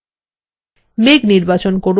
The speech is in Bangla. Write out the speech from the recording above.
মেঘ নির্বাচন করুন